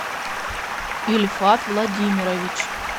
ильфат владимирович